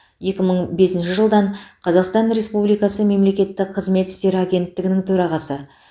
екі мың бесінші жылдан қазақстан республикасы мемлекеттік қызмет істері агенттігінің төрағасы